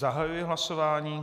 Zahajuji hlasování.